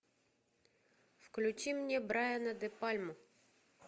включи мне брайана де пальму